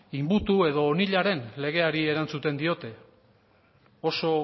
inbutu edo onilaren legeari erantzuten diote oso